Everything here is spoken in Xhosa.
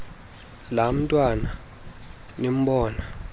laa ntwana imbona